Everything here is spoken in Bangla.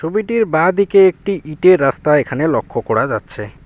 ছবিটির বাঁদিকে একটি ইটের রাস্তা এখানে লক্ষ করা যাচ্ছে।